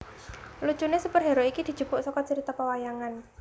Lucune superhero iki dijupuk saka carita pawayangan